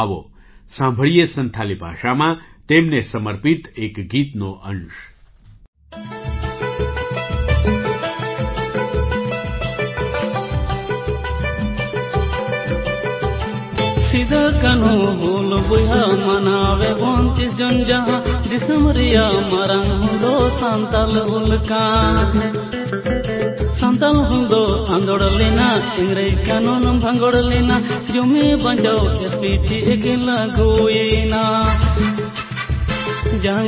આવો સાંભળીએ સંથાલી ભાષામાં તેમને સમર્પિત એક ગીતનો અંશ-